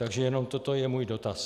Takže jenom toto je můj dotaz.